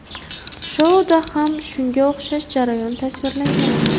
Shouda ham shunga o‘xshash jarayon tasvirlangan edi.